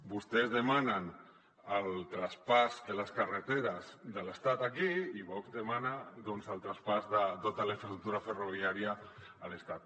vostès demanen el traspàs de les carreteres de l’estat aquí i vox demana el traspàs de tota la infraestructura ferroviària a l’estat